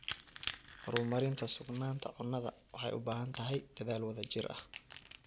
Horumarinta sugnaanta cunnada waxay u baahan tahay dadaal wadajir ah.